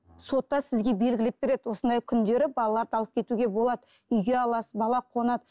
сотта сізге белгілеп береді осындай күндері балаларды алып кетуге болады үйге аласыз бала қонады